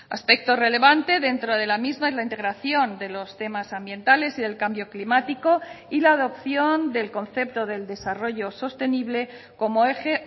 aspecto relevante dentro de la misma es la integración de los temas ambientales y del cambio climático y la adopción del concepto del desarrollo sostenible como eje